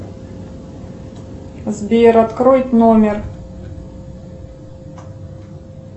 сбер открой номер